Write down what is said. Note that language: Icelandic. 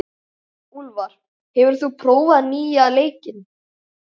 Úlfar, hefur þú prófað nýja leikinn?